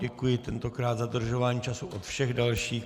Děkuji tentokrát za dodržování času od všech dalších.